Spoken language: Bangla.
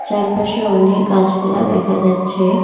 চারপাশে অনেক গাছপালা দেখা যাচ্ছে।